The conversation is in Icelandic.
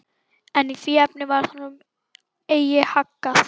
En í því efni varð honum eigi haggað.